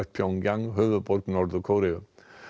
Pjongjang höfuðborg Norður Kóreu